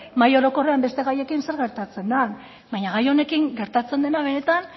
mahai orokorrean beste gaiekin zer gertatzen den baina gai honekin gertatzen dena benetan